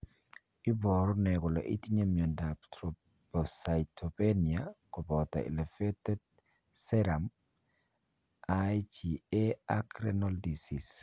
Iporu ne kole itinye miondap Thrombocytopenia koppoto elevated serum IgA ak renal disease?